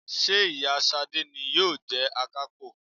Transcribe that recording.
Ṣé ìyá Ṣadé ni yóò jẹ Akápò?